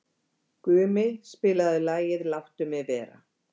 Gumi, spilaðu lagið „Láttu mig vera“.